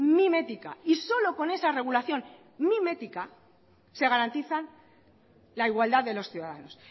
mimética y solo con esa regulación mimética se garantiza la igualdad de los ciudadanos